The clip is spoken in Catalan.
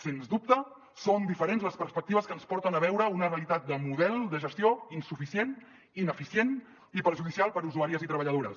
sens dubte són diferents les perspectives que ens porten a veure una realitat de model de gestió insuficient ineficient i perjudicial per a usuàries i treballadores